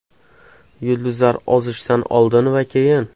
Yulduzlar ozishdan oldin va keyin.